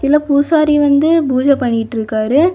இதுல பூசாரி வந்து பூஜ பண்ணிட்டுருக்காரு.